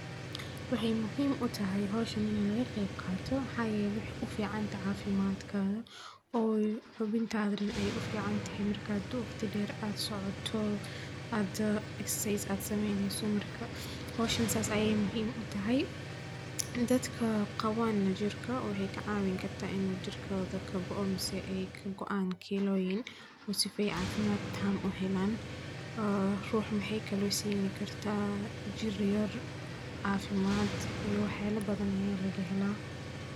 Waxee muhiim utahay in howshan laga qeyb qato maxaa yele maxee uficantahay cafimaadka oo xubin tagero ee uficantahay marka waqti badan socoto, aaad egsasais in muhiim u tahay in dad qawo jirka kagoo jirka rux waxee kalo sini kartaa jir yar cafimaad iyo wax yala badan aya laga hela.